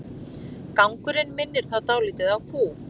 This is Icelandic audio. Gangurinn minnir þá dálítið á kú.